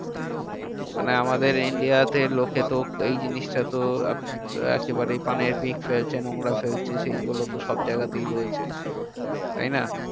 মানে আমাদের India তে লোকতো এই জিনিসটাতো এক~ একেবারে পানের পিক ফেলছে নোংরা ফেলছে সেইগুলোতো সবজায়গাতেই হয়েছে। তাইনা?